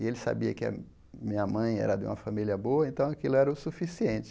E ele sabia que a minha mãe era de uma família boa, então aquilo era o suficiente.